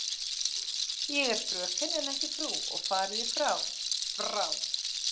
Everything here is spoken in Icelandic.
Ég er fröken en ekki frú og fariði frá, FRÁ.